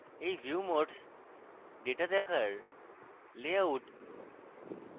এই view modes data দেখার layout